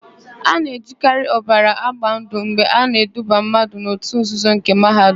A na-ejikarị ọbara agba ndụ mgbe a na-eduba mmadụ n'òtù nzuzo nke Mahadum.